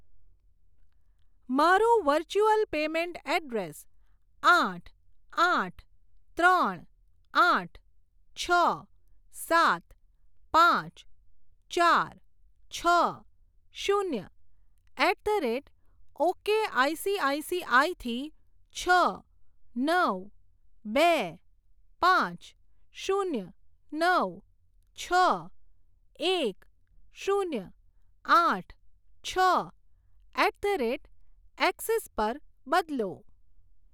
મારું virtual payment address આઠ આઠ ત્રણ આઠ છ સાત પાંચ ચાર છ શૂન્ય એટ ધ રેટ ઓકેઆઇસીઆઇસીઆઇ થી છ નવ બે પાંચ શૂન્ય નવ છ એક શૂન્ય આઠ છ એટ ધ રેટ એક્સિસ પર બદલો.